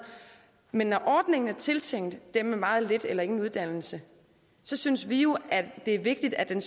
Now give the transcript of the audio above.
men når ordningen er tiltænkt dem med meget lidt eller ingen uddannelse synes vi jo at det er vigtigt at den